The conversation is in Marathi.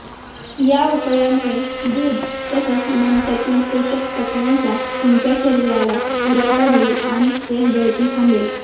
या उपायामुळे दूध तसंच मनुक्यातील पोषकतत्त्वांचा तुमच्या शरीराला पुरवठा होईल आणि केसगळती थांबेल